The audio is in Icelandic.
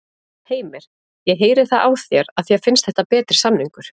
Heimir: Ég heyri það á þér að þér finnst þetta betri samningur?